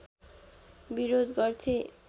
विरोध गर्थे